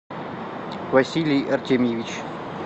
василий артемьевич